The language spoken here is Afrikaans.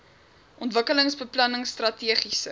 ontwikkelingsbeplanningstrategiese